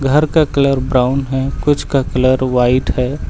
घर का colour brown है कुछ का कलर व्हाइट है।